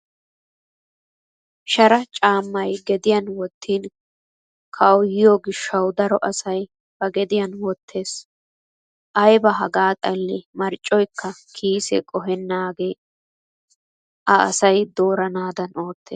Shara caammay gediyan wottin kawuyyoyo gishshawu daro asay ba gediyan wottes. Ayba hagaa xallee marccoyikka kiise qohennaage a asay dooranaadan oottes.